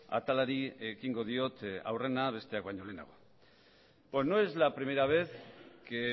atalari ekingo diot aurrena besteak baino lehenago pues no es la primera vez que